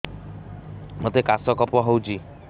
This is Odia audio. ମୋତେ କାଶ କଫ ହଉଚି